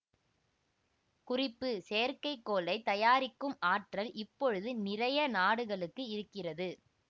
குறிப்பு செயற்கைக்கோளை தயாரிக்கும் ஆற்றல் இப்பொழுது நிறைய நாடுகளுக்கு இருக்கிறது